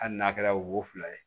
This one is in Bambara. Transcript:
Hali n'a kɛra wo fila ye